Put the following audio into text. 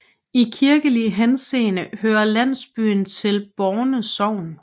I kirkelig henseende hører landsbyen til Borne Sogn